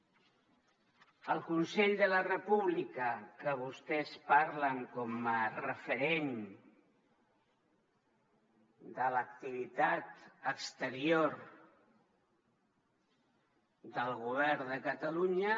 el consell per la república del que vostès parlen com a referent de l’activitat exterior del govern de catalunya